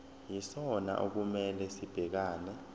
yisona okumele sibhekane